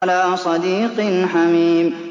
وَلَا صَدِيقٍ حَمِيمٍ